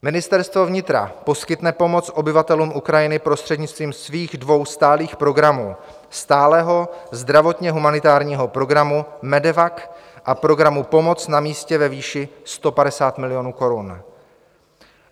Ministerstvo vnitra poskytne pomoc obyvatelům Ukrajiny prostřednictvím svých dvou stálých programů - stálého zdravotně humanitárního programu MEDEVAC a programu Pomoc na místě ve výši 150 milionů korun.